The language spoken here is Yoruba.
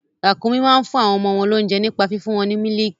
Ràkúnmí máa ń fún àwọn ọmọ wọn lóunjẹ nípa fífún wọn ní mílìkì.